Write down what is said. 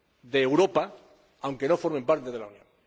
de Europa, aunque no formen parte de la Unión.